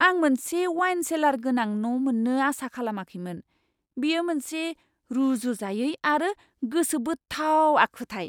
आं मोनसे wine cellar गोनां न' मोन्नो आसा खालामाखैमोन, बेयो मोनसे रुजुजायै आरो गोसोबोथाव आखुथाय!